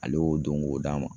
Ale y'o don k'o d'a ma.